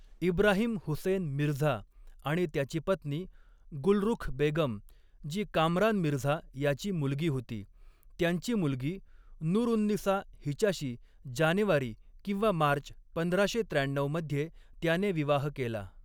इब्राहिम हुसेन मिर्झा आणि त्याची पत्नी गुलरुख बेगम, जी कामरान मिर्झा याची मुलगी होती, त्यांची मुलगी नूरउन्निसा हिच्याशी जानेवारी किंवा मार्च पंधराशे त्र्याण्णव मध्ये त्याने विवाह केला.